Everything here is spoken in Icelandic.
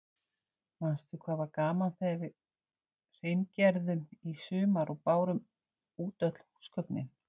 Manstu hvað var gaman þegar við hreingerðum í sumar og bárum út öll húsgögnin.